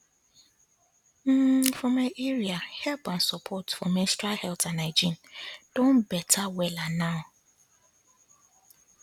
um for my area help and support for menstrual health and hygiene don better wella now um